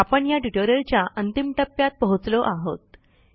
आपण ह्या ट्युटोरियलच्या अंतिम टप्प्यात पोहोचलो आहोत